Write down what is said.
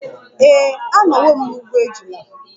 Ee, anọwo m n'ugbo ejula.